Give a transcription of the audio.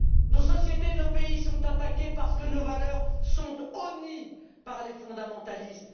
Nos sociétés, nos pays sont attaqués parce que nos valeurs sont honnies par les fondamentalistes.